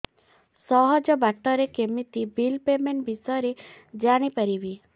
ସହଜ ବାଟ ରେ କେମିତି ବିଲ୍ ପେମେଣ୍ଟ ବିଷୟ ରେ ଜାଣି ପାରିବି